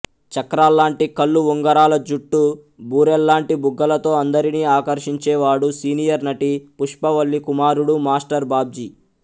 చక్రాల్లాంటి కళ్లు ఉంగరాల జుట్టు బూరెల్లాంటి బుగ్గలతో అందరినీ ఆకర్షించేవాడు సీనియర్ నటి పుష్పవల్లి కుమారుడు మాస్టర్ బాబ్జీ